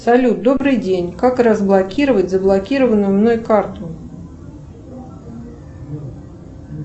салют добрый день как разблокировать заблокированную мной карту